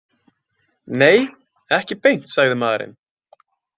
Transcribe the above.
Nei, ekki beint, sagði maðurinn.